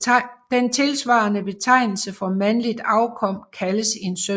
Den tilsvarende betegnelse for mandligt afkom kaldes en søn